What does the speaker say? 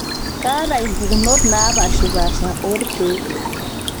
kaata impukunot naapashipaasha oo ilkeek